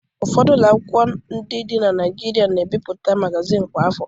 Ụfọdụ ụlọ akwụkwọ dị na Naịjirịa na-ebipụta magazin kwa afọ.